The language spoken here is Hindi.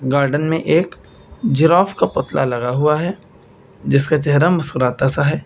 गार्डन में एक जिराफ का पुतला लगा हुआ है जिसका चेहरा मुस्कुराता सा है।